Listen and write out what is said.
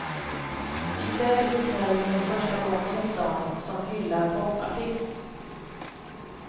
I kväll uppträder hon för första gången i stan som hyllad popartist.